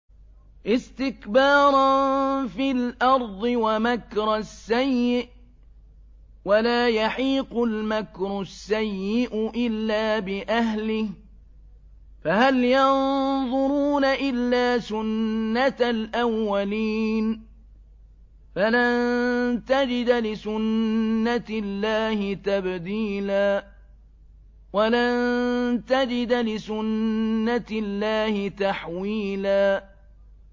اسْتِكْبَارًا فِي الْأَرْضِ وَمَكْرَ السَّيِّئِ ۚ وَلَا يَحِيقُ الْمَكْرُ السَّيِّئُ إِلَّا بِأَهْلِهِ ۚ فَهَلْ يَنظُرُونَ إِلَّا سُنَّتَ الْأَوَّلِينَ ۚ فَلَن تَجِدَ لِسُنَّتِ اللَّهِ تَبْدِيلًا ۖ وَلَن تَجِدَ لِسُنَّتِ اللَّهِ تَحْوِيلًا